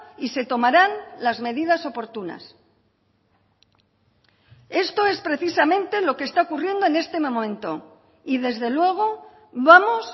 y se tomarán las medidas oportunas esto es precisamente lo que está ocurriendo en este momento y desde luego vamos